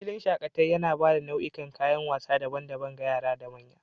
filin shakataea yana ba da nau'ikan kayan wasa daban-daban ga yara da manya.